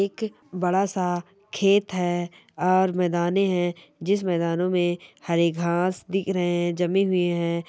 एक बड़ा-सा खेत हैं और मैदाने हैं जिस मैदानों में हरी घास दिख रहे हैं जमी हुए हैं।